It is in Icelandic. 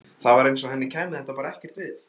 Það var eins og henni kæmi þetta bara ekkert við.